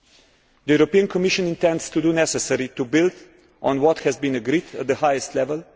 The European Commission intends to do the necessary to build on what has been agreed at the highest level.